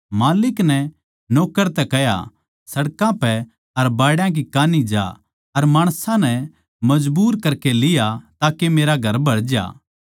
माल्लिक नै नौक्कर तै कह्या सड़कां पै अर बाड़या की कान्ही जा अर माणसां नै मजबूर करकै लिया ताके मेरा घर भरज्या